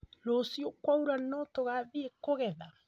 Rũciu kwaũra no tũgathiĩ kũgetha?